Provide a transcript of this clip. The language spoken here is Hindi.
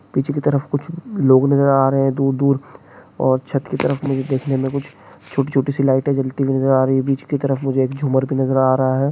पीछे की तरफ कुछ लोग नजर आ रहे हैं तो दूर और छत की तरफ मुझे देखने में कुछ छोटी छोटी सी लाइट जलती नजर आ रही है बीच की तरफ मुझे एक झूमर की नजर आ रहा है।